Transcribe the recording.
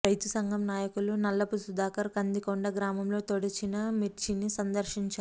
రైతు సంఘం నాయకులు నల్లపు సుధాకర్ కందికొండ గ్రామంలో తడిచిన మిర్చిని సందర్శించారు